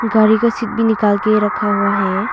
गाड़ी का शीट भी निकाल के रखा हुआ है।